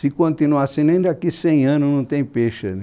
Se continuar assim, nem daqui a cem anos não tem peixe ali.